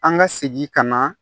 An ka segin ka na